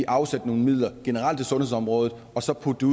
afsætte nogle midler generelt til sundhedsområdet og så putte